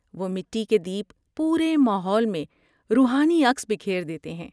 وہ مٹی کے دیپ پورے ماحول میں روحانی عکس بکھیر دیتے ہیں۔